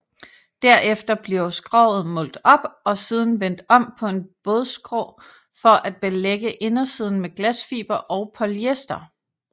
Derefter bliver skroget målt op og siden vendt om på en bådskrå for at belægge indersiden med glasfiber og polyester